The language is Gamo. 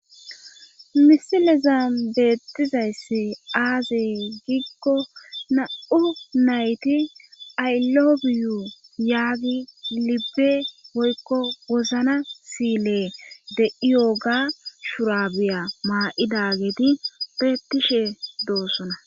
misileza beettizayssi aaze giikko na'u nayti aylobiyu yaagi libbe woykko wozana siile de'iyoga shurabiya maa'dageeti betishe doossona